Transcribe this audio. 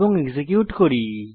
এবং এক্সিকিউট করুন